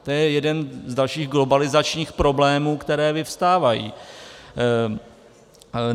To je jeden z dalších globalizačních problémů, které vyvstávají.